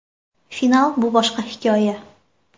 Final bu boshqa hikoya.